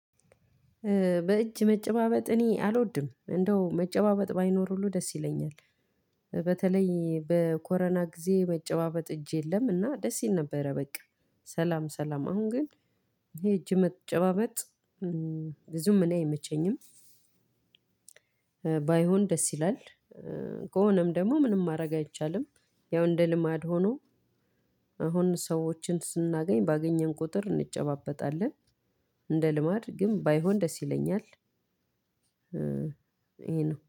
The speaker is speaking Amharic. በእጅ መጨባበጥ እኔ አልወድም እንደው መጨባበጥ ባይኖር ሁሉ ደስ ይለኛል። በተለይ በኮሮና ጊዜ መጨባበጥ እጅ የለም እና ደስ ይል ነበረ በቃ ሰላም ሰላም አሁን ግን ይሄ እጅ መጨባበጥ ብዙም እኔ አይመቸኝም። ባይሆን ደስ ይላል። ከሆነም ደግሞ ምንም ማረግ አይቻልም። አሁን ሰዎችን ስናገኝ ባገኘን ቁጥር እንጨባበጣለን። እንደ ልማድ ግን ባይሆን ደስ ይለኛል ይሄ ነው።